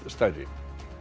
stærri